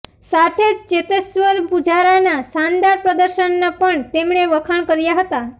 સાથે જ ચેતેશ્વર પુજારાના શાનદાર પ્રદર્શનના પણ તેમણે વખાણ કર્યા હતા